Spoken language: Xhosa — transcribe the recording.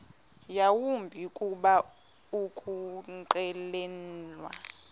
yawumbi kuba ukunqwenela